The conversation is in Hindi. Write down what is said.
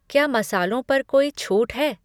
क्या मसालों पर कोई छूट है?